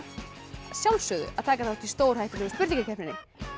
að taka þátt í stórhættulegu spurningakeppninni